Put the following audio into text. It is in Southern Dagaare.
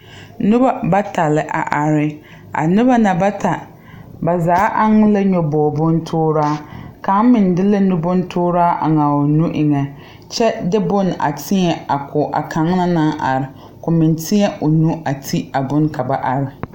Noba bata la a are a noba na bata ba zaa eŋ la nyɔbogre bontoore kaŋ meŋ de la nubontooraa a eŋ o nu eŋnɛ kyɛ de bonne teɛ ko a kaŋa naŋ are ka o meŋ teɛ o nu a ti a bonne ka ba are.